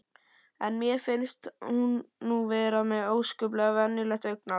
En mér finnst hún nú vera með ósköp venjulegt augnaráð.